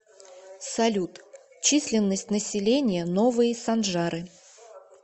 салют численность населения новые санжары